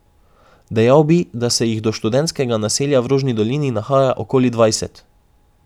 Dejal bi, da se jih do študentskega naselja v Rožni dolini nahaja okoli dvajset.